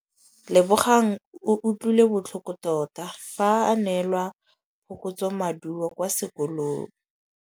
Lebogang o utlwile botlhoko tota fa a neelwa phokotsômaduô kwa sekolong.